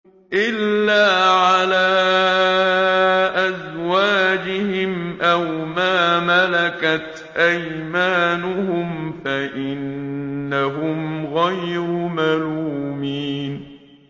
إِلَّا عَلَىٰ أَزْوَاجِهِمْ أَوْ مَا مَلَكَتْ أَيْمَانُهُمْ فَإِنَّهُمْ غَيْرُ مَلُومِينَ